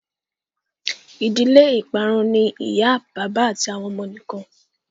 ìdílé iparun ní ìyá bàbá àti àwọn ọmọ nìkàn